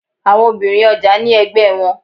Àwọn obìnrin ọjà ní ẹgbẹ́ wọn.